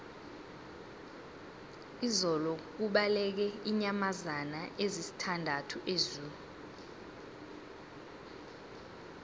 izolo kubaleke iinyamazana ezisithandathu ezoo